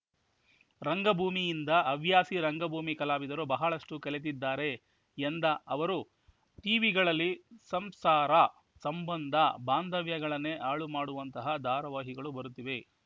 ರಂಗಭೂಮಿಯಿಂದ ಹವ್ಯಾಸಿ ರಂಗಭೂಮಿ ಕಲಾವಿದರು ಬಹಳಷ್ಟುಕಲಿತಿದ್ದಾರೆ ಎಂದ ಅವರು ಟಿವಿಗಳಲ್ಲಿ ಸಂಸಾರ ಸಂಬಂಧ ಬಾಂಧವ್ಯಗಳನ್ನೇ ಹಾಳು ಮಾಡುವಂತಹ ಧಾರಾವಾಹಿಗಳು ಬರುತ್ತಿವೆ